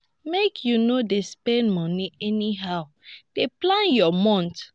make you no dey spend moni anyhow dey plan your month.